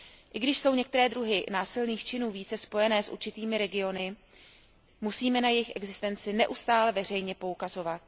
I když jsou některé druhy násilných činů více spojené s určitými regiony, musíme na jejich existenci neustále veřejně poukazovat.